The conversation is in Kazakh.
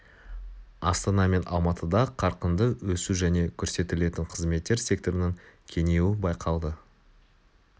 астана мен алматыда қарқынды өсу және көрсетілетін қызметтер секторының кеңеюі байқалды